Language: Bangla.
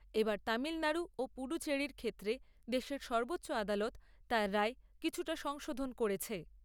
এবার তামিলনাড়ু ও পুডুচেড়ির ক্ষেত্রে দেশের সর্বোচ্চ আদালত তার রায়ে কিছুটা সংশোধন করেছে।